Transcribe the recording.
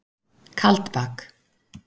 Kaldbak